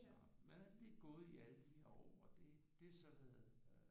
Så men alt det er gået i alle de år og det det er så noget